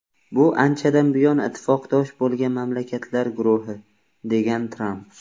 Bu anchadan buyon ittifoqdosh bo‘lgan mamlakatlar guruhi”, degan Tramp.